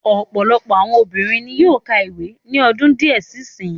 Ọ̀pọ̀lọpọ̀ àwọn obìnrin ni yóó ka ìwé ní ọdún díẹ̀ sí sin yìí.